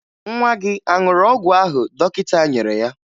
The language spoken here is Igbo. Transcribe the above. Nwa gị a ṅụrụ ọgwụ ahụ dọkịta nyere ya?